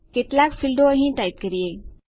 કેટલાક ફીલ્ડો અહીં ટાઈપ કરીએ